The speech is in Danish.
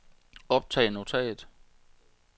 optag notat